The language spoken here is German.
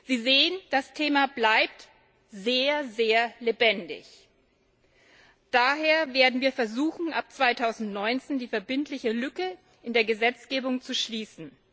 Sie sehen, das Thema bleibt sehr lebendig. Daher werden wir versuchen, ab 2019 die Lücke in der Gesetzgebung zu schließen.